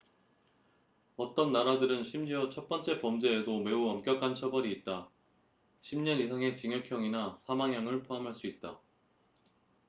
어떤 나라들은 심지어 첫 번째 범죄에도 매우 엄격한 처벌이 있다 10년 이상의 징역형이나 사망형을 포함할 수 있다